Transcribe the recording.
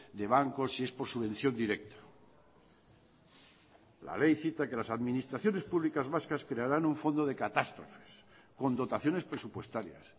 de bancos si es por subvención directa la ley cita que las administraciones públicas vascas crearán un fondo de catástrofes con dotaciones presupuestarias